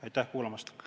Aitäh kuulamast!